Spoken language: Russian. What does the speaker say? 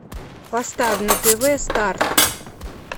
поставь на тв старт